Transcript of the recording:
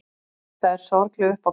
Þetta var sorgleg uppákoma.